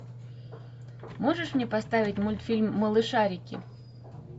можешь мне поставить мультфильм малышарики